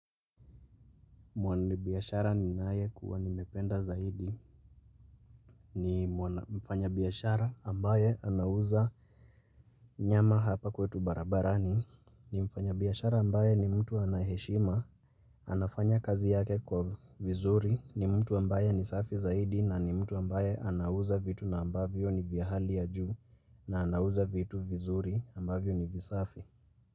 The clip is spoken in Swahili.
Mwani biashara ni naye kuwa nimependa zaidi. Ni mfanya biashara ambaye anauza nyama hapa kwetu barabarani. Ni mfanya biashara ambaye ni mtu anaheshima. Anafanya kazi yake kwa vizuri ni mtu ambaye ni safi zaidi na ni mtu ambaye anauza vitu na ambavyo ni vya hali ya juu na anauza vitu vizuri ambavyo ni visafi.